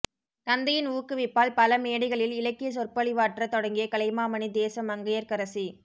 தந்தையின் ஊக்குவிப்பால் பல மேடைகளில் இலக்கியச் சொற்பொழிவாற்றத் தொடங்கிய கலைமாமணி தேச மங்கையர்கரசி